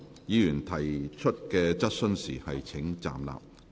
議員提出質詢時請站立。